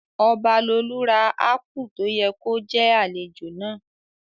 Ọbalolú ra ápù tó yẹ kó jẹ́ àlejò náà